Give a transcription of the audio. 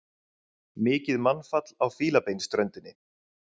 Mikið mannfall á Fílabeinsströndinni